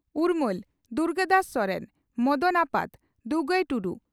ᱩᱨᱢᱟᱹᱞ (ᱫᱩᱨᱜᱟᱫᱟᱥ ᱥᱚᱨᱮᱱ) ᱢᱚᱫᱚᱱ ᱟᱯᱟᱛ (ᱫᱩᱜᱟᱹᱭ ᱴᱩᱰᱩ)